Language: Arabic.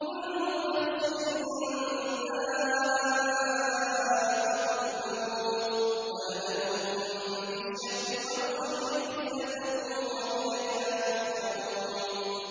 كُلُّ نَفْسٍ ذَائِقَةُ الْمَوْتِ ۗ وَنَبْلُوكُم بِالشَّرِّ وَالْخَيْرِ فِتْنَةً ۖ وَإِلَيْنَا تُرْجَعُونَ